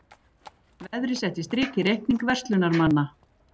Veðrið setti strik í reikning verslunarmanna